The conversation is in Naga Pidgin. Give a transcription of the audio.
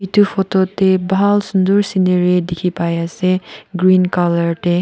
edu photo tae bhal sunder scenery dikhipaiase green colour tae.